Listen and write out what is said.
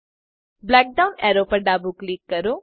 black down arrow પર ડાબું click કરો